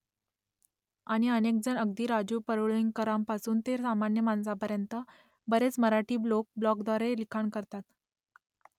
आणि अनेकजण अगदी राजू परूळेकरांपासून ते सामान्य माणसांपर्यंत बरेच मराठी लोक ब्लॉगद्वारे लिखाण करतात